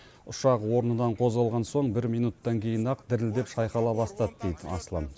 ұшақ орнынан қозғалған соң бір минуттан кейін ақ дірілдеп шайқала бастады дейді аслан